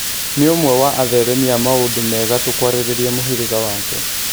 Nĩ ũmwe wa atheremia a maũndũ me gatũ kwarĩrĩria mũhĩrĩga wake.